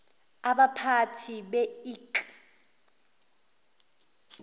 abaphathi be ik